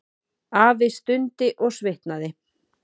Afi stundi og svitnaði.